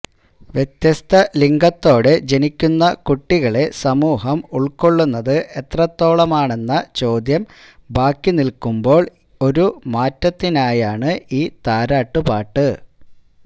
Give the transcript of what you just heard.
വ്യത്യസ്ത ലിംഗത്തോടെ ജനിക്കുന്ന കുട്ടികളെ സമൂഹം ഉൾക്കൊള്ളുന്നത് എത്രത്തോളമാണെന്ന ചോദ്യം ബാക്കി നിൽക്കുമ്പോൾ ഒരു മാറ്റത്തിനായാണ് ഈ താരാട്ടുപാട്ട്